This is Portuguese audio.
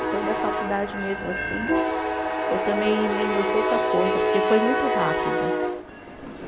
Então, da faculdade mesmo assim, eu também lembro pouca coisa, porque foi muito rápido.